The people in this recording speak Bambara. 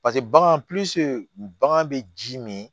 Paseke bagan bagan bɛ ji min